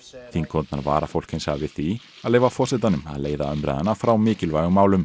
þingkonurnar vara fólk hins vegar við því að leyfa forsetanum að leiða umræðuna frá mikilvægum málum